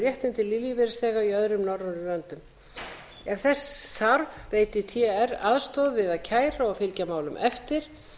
réttindi l lífeyrisþega í öðrum norrænum löndum ef þess þarf veiti tr aðstoð vi að kæra og fylgja málum eftir